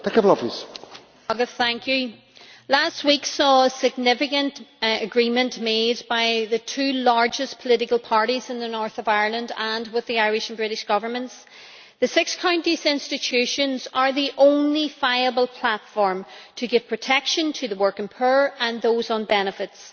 Mr President, last week saw a significant agreement made by the two largest political parties in the North of Ireland and with the Irish and British Governments. The six counties' institutions are the only viable platform to give protection to the working poor and those on benefits.